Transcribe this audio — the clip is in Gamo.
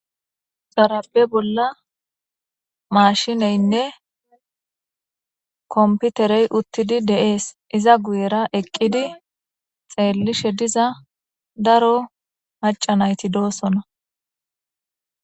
xarabe bolla maashineynne komputerey uttidi deees iza guyera eqqidi xeellishe diza daro macanayti doosona